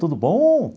Tudo bom?